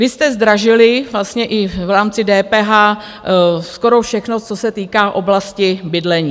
Vy jste zdražili vlastně i v rámci DPH skoro všechno, co se týká oblasti bydlení.